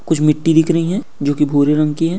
कुछ मिट्टी दिख रही है जो कि भूरे रंग की है।